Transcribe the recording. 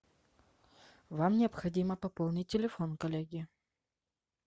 вам необходимо пополнить телефон коллеги